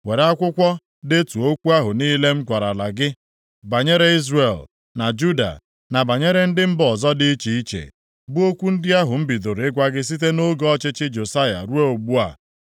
“Were akwụkwọ detuo okwu ahụ niile m gwarala gị banyere Izrel, na Juda, na banyere ndị mba ọzọ dị iche iche, bụ okwu ndị ahụ m bidoro ịgwa gị site nʼoge ọchịchị Josaya ruo ugbu a.